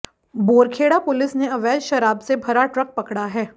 Borkheda police ने अवैध शराब से भरा ट्रक पकड़ा है